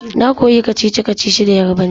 Na koya kacici-kacici da Yarbanci